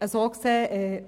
Insofern